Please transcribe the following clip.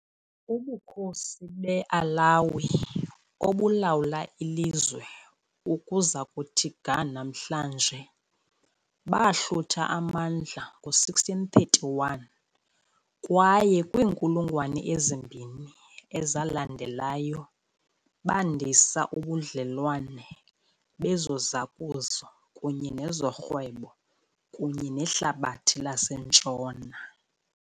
Ubukhosi be-'Alawi, obulawula ilizwe ukuza kuthi ga namhlanje, bahlutha amandla ngo-1631, kwaye kwiinkulungwane ezimbini ezalandelayo bandisa ubudlelwane bezozakuzo kunye nezorhwebo kunye nehlabathi laseNtshona .